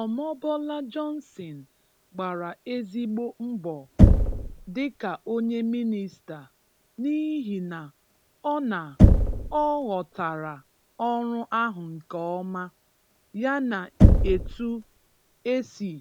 Omobola Johnson gbara ezigbo mbọ dịka onye Mịnịsta, n’ihi na ọ na ọ ghọtara ọrụ ahụ nke ọma, yana etu e si